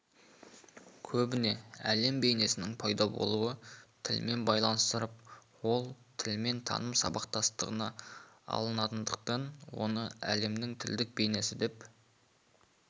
көбіне әлем бейнесінің пайда болуы тілмен байланыстырылып ол тіл мен таным сабақтастығында анықталатындықтан оны әлемнің тілдік бейнесі деп